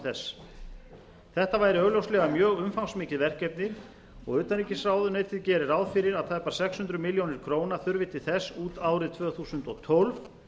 þess þetta væri augljóslega mjög umfangsmikið verkefni og utanríkisráðuneytið gerir ráð fyrir að tæpar sex hundruð milljóna króna þurfi til þess út árið tvö þúsund og tólf